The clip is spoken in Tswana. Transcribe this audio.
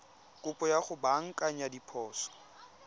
kopo ya go baakanya diphoso